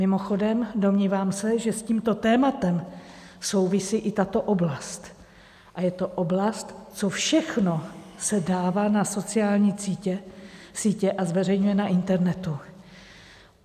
Mimochodem, domnívám se, že s tímto tématem souvisí i tato oblast, a je to oblast, co všechno se dává na sociální sítě a zveřejňuje na internetu.